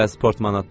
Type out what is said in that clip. Bəs portmanatda?